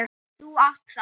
Þú átt það.